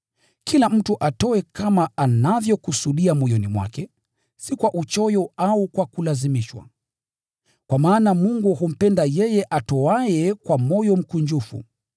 Kila mtu atoe kama anavyokusudia moyoni mwake, si kwa uchoyo au kwa kulazimishwa, kwa maana Mungu humpenda yeye atoaye kwa moyo mkunjufu.